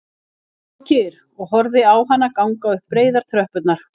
Hann stóð kyrr og horfði á hana ganga upp breiðar tröppurnar